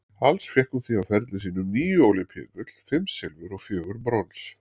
Alls fékk hún því á ferli sínum níu ólympíugull, fimm silfur og fjögur brons.